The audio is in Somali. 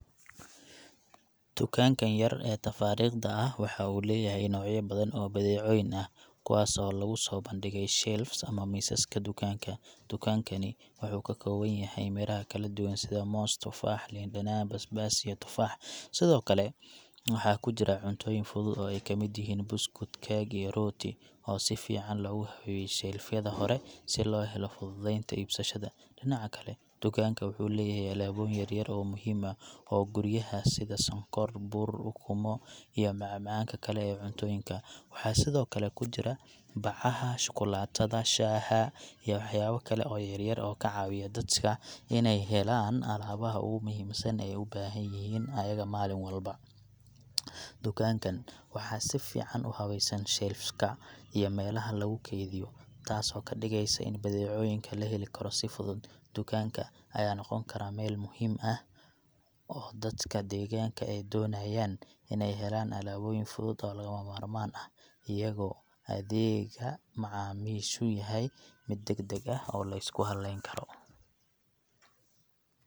Tukaankan yar ee tafaariiqda ah waxa uu leeyahay noocya badan oo badeecooyin ah, kuwaas oo lagu soo bandhigay shelves ama miisaska dukaanka. Dukaankani wuxuu ka kooban yahay miraha kala duwan sida moos, tufaax, liin dhanaan, basbaas, iyo tufaax. Sidoo kale, waxaa ku jira cuntooyin fudud oo ay ka mid yihiin buskud, keeg, iyo rooti, oo si fiican loogu habeeyey shelf yada hore si loo helo fududeynta iibsashada. Dhinaca kale, dukaanka wuxuu leeyahay alaabooyin yaryar oo muhiim u ah guryaha sida sonkor, bur, ukumo, iyo macmacaanka kale ee cuntooyinka. Waxaa sidoo kale ku jira bacaha shukulaatada, shaaha, iyo waxyaabo kale oo yaryar oo ka caawiya dadka inay helaan alaabaha ugu muhiimsan ee ay u baahan yihiin ayaga maalin walba. Dukaankan waxaa si fiican u habaysan shelves ka iyo meelaha lagu kaydiyo, taasoo ka dhigaysa in badeecooyinka la heli karo si fudud. Dukaanka ayaa noqon kara meel muhiim ah oo dadka deegaanka ee doonayaan inay helaan alaabooyin fudud oo lagama maarmaan ah, iyagoo adeegga macaamiishu yahay mid degdeg ah oo la isku halayn karo.